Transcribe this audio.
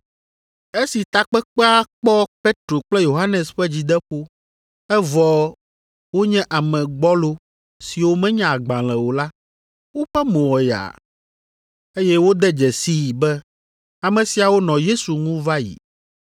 Esi takpekpea kpɔ Petro kple Yohanes ƒe dzideƒo, evɔ wonye ame gbɔlo siwo menya agbalẽ o la, woƒe mo wɔ yaa, eye wode dzesii be ame siawo nɔ Yesu ŋu va yi.